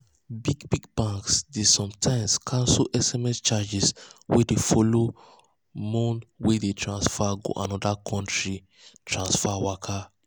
big big banks dey sometimes cancel sms charges wey dey follow mone wey you transfer go another country transfer waka.